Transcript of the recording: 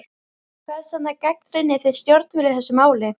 Hvers vegna gagnrýnið þið stjórnvöld í þessu máli?